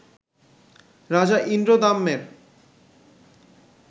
রাজা ইন্দ্রদ্যম্নের